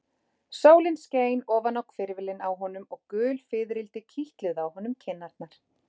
Sólin skein ofan á hvirfilinn á honum og gul fiðrildi kitluðu á honum kinnarnar.